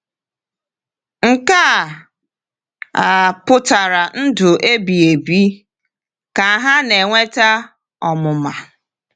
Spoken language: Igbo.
“Nke a a pụtara ndụ ebighị ebi, ka ha na-enweta ọmụma...”